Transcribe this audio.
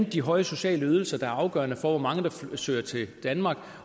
de høje sociale ydelser der er afgørende for hvor mange der søger til danmark